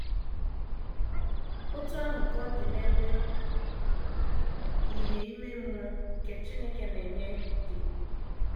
Otú ahụ ka ọ dị n’ebe ìhè ime mmụọ nke Chineke na - enye dị.